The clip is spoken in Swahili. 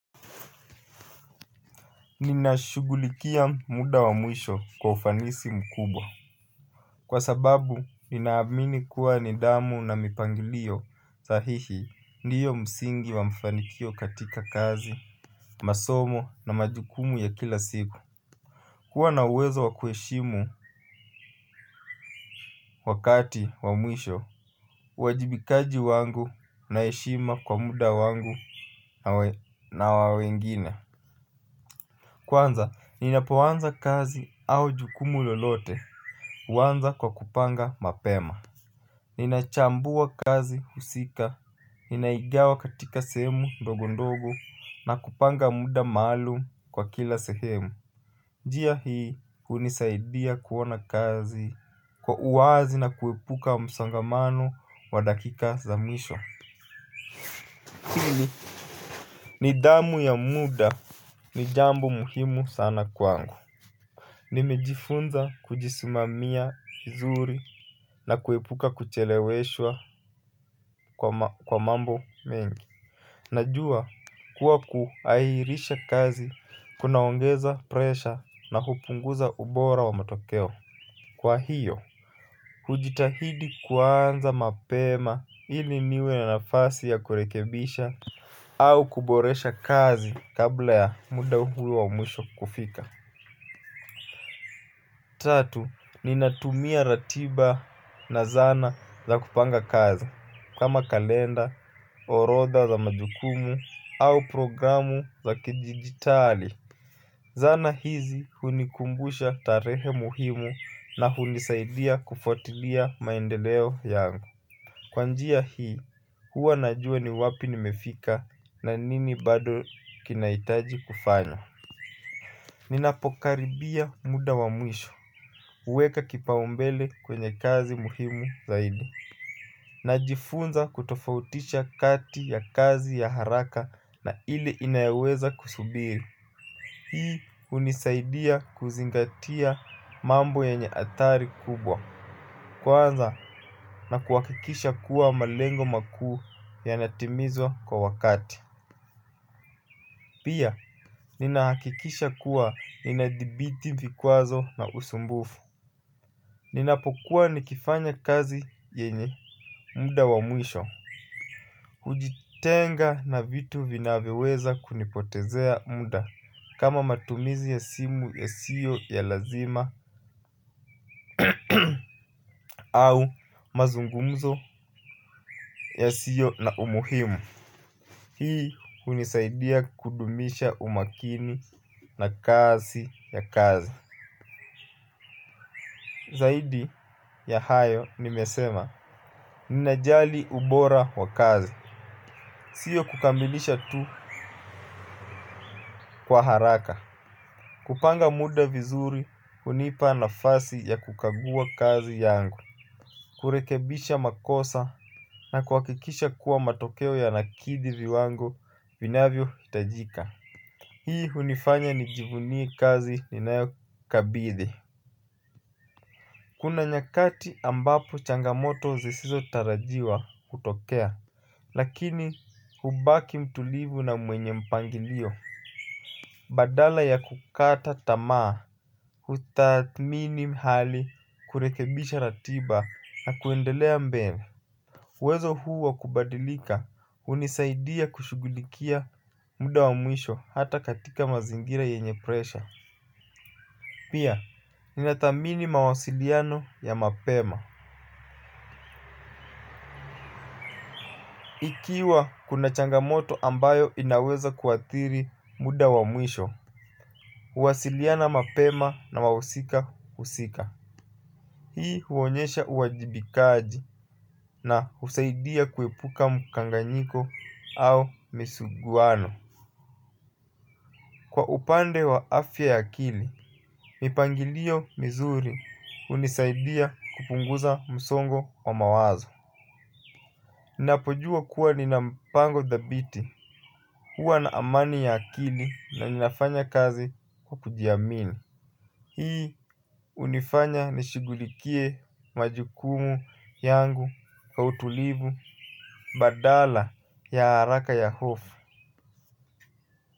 Ninashughulikia muda wa mwisho kwa ufanisi mkubwa. Kwa sababu, ninaamini kuwa nidhamu na mipangilio sahihi. Ndiyo msingi wa mfanikio katika kazi, masomo na majukumu ya kila siku. Kuwa na uwezo wakueshimu wakati wamwisho uwajibikaji wangu na heshima kwa muda wangu na wa wengine. Kwanza, ninapoanza kazi au jukumu lolote huanza kwa kupanga mapema. Ninachambua kazi husika. Ninaigawa katika sehemu ndogo ndogo na kupanga muda maalumu kwa kila sehemu njia hii hunisaidia kuona kazi. Kwa uwazi na kuepuka msongamano wadakika za mwisho pili nidhamu ya muda. Ni jambo muhimu sana kwangu. Nimejifunza kujisimamia vizuri na kuepuka kucheleweshwa kwa mambo mengi. Najua kuwa kuairisha kazi kunaongeza presha na hupunguza ubora wa matokeo. Kwa hiyo, hujitahidi kuanza mapema ili niwe na nafasi ya kurekebisha au kuboresha kazi kabla ya muda huo wa mwisho kufika. Tatu, ninatumia ratiba na zana za kupanga kazi kama kalenda, orotha za majukumu au programu za kidijitali. Zana hizi hunikumbusha tarehe muhimu na hunisaidia kufuatilia maendeleo yangu. Kwa njia hii hua najua ni wapi nimefika na nini bado kinaitaji kufanya. Ninapokaribia muda wa mwisho huweka kipao mbele kwenye kazi muhimu zaidi na jifunza kutofautisha kati ya kazi ya haraka na ili inayeweza kusubiri. Hii hunisaidia kuzingatia mambo yenye adhari kubwa. Kwanza na kuhakikisha kuwa malengo makuu yanatimizwa kwa wakati. Pia ninahakikisha kuwa ninadhibiti vikwazo na usumbufu. Ninapokuwa nikifanya kazi yenye muda wa mwisho ujitenga na vitu vinavyoweza kunipotezea muda kama matumizi ya simu ya siyo ya lazima au mazungumzo yasiyo na umuhimu. Hii hunisaidia kudumisha umakini na kasi ya kazi. Zaidi ya hayo nimesema. Ninajali ubora wa kazi. Sio kukamilisha tu kwa haraka. Kupanga muda vizuri hunipa nafasi ya kukagua kazi yangu. Kurekebisha makosa na kuhakikisha kuwa matokeo yanakidhi viwango vinavyo itajika. Hii hunifanya nijivunie kazi ni nayo kabidhi. Kuna nyakati ambapo changamoto zisizo tarajiwa hutokea lakini hubaki mtulivu na mwenye mpangilio. Badala ya kukata tamaa hutathmini hali kurekebisha ratiba na kuendelea mbele uwezo huu wakubadilika hunisaidia kushughulikia muda wa mwisho hata katika mazingira yenye presha. Pia ninadhamini mawasiliano ya mapema ikiwa kuna changamoto ambayo inaweza kuadhiri muda wa mwisho huwasiliana mapema na wausika husika. Hii huonyesha uwajibikaji na husaidia kuepuka mkanganyiko au misuguwano. Kwa upande wa afya ya akili, mipangilio mizuri hunisaidia kupunguza msongo wa mawazo. Ninapojua kuwa ninampango dhabiti. Hua na amani ya akili na ninafanya kazi kwa kujiamini. Hii hunifanya nishughulikie majukumu yangu kwa utulivu badala ya haraka ya hofu.